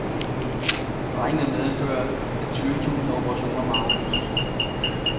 Strejken vil medføre, at tyve tusind operationer må aflyses.